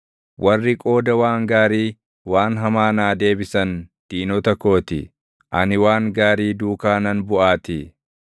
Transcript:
Warri qooda waan gaarii waan hamaa naa deebisan diinota koo ti; ani waan gaarii duukaa nan buʼaatii.